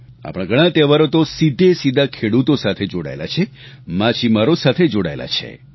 આપણા ધણાં તહેવારો તો સીધેસીધા ખેડૂતો સાથે જોડાયેલા છે માછીમારો સાથે જોડાયેલા છે